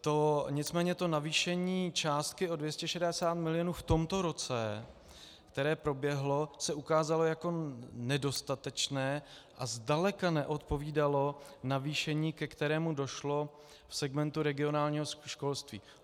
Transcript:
Nicméně to navýšení částky o 260 mil. v tomto roce, které proběhlo, se ukázalo jako nedostatečné a zdaleka neodpovídalo navýšení, ke kterému došlo v segmentu regionálního školství.